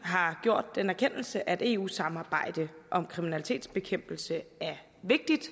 har gjort den erkendelse at eu samarbejde om kriminalitetsbekæmpelse er vigtigt